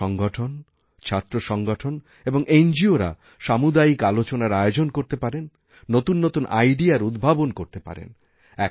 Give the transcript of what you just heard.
যুব সংগঠন ছাত্র সংগঠন এবং এনজিওরা সামুদায়িক আলোচনার আয়োজন করতে পারেন নতুননতুন আইডিয়ার উদ্ভাবন করতে পারেন